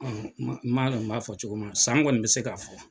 M' ma dɔn n b'a fɔ cogo min na san kɔni bɛ se ka'a fɔ.